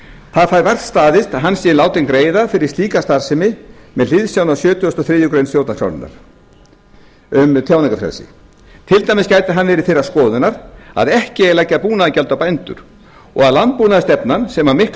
það fær vart staðist að hann sé látinn greiða fyrir slíka starfsemi með sjötugasta og þriðju grein stjórnarskrárinnar um tjáningarfrelsi til dæmis gæti hann verið þeirrar skoðunar að ekki eigi að leggja búnaðargjald á bændur og að landbúnaðarstefnan sem að miklu leyti